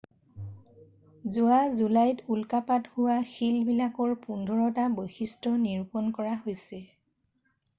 যোৱা জুলাইত উল্কাপাত হোৱা শিলবিলাকৰ পোন্ধৰটাৰ বৈশিষ্ট্য নিৰূপন কৰা হৈছে